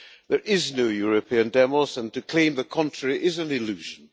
There is no European demos and to claim the contrary is an illusion.